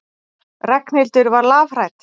Ragnhildur var lafhrædd.